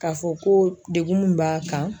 K'a fɔ ko degun mun b'a kan.